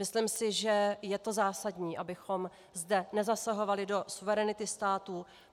Myslím si, že je to zásadní, abychom zde nezasahovali do suverenity států.